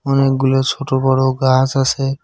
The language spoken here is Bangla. অনেকগুলো ছোট বড় গাস আসে।